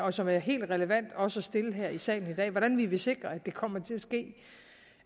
og som er helt relevant også at stille her i salen i dag nemlig hvordan vi vil sikre at det kommer til at ske det